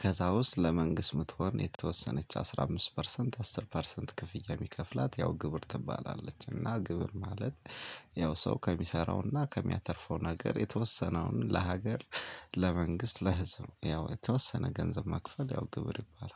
ከዛ ውስጥ ለመንግስት ምቶን የተወሰነች አስራ አምስት ፐርሰንት አስር ፐርሰንት ክፍያ ምከፍላት ያው ግብር ትባላለች። እና ግብር ማለት ያው ሰው ከሚሰራውና ከሚያተርፈው ነገር የተወሰነውን ለሀገር ለመንግስት ለህዝብ ያው የተወሰነ ገንዘብ መክፈል ያው ግብር ይባላል